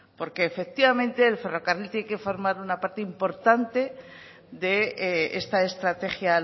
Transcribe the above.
porque efectivamente el ferrocarril tiene que formar una parte importante de esta estrategia